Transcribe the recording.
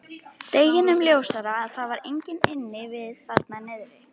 Deginum ljósara að það var enginn inni við þarna niðri.